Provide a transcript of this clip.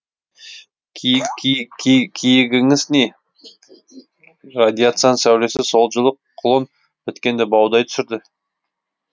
киігіңіз не радиацияның сәулесі сол жылы құлын біткенді баудай түсірді